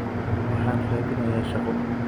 waxaan raadinayaa shaqo